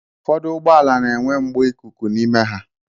Ụfọdụ Ụgbọala na-enwe mgbọ ikuku n'ime ha.